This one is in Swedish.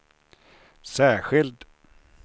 särskild